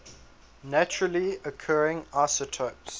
naturally occurring isotopes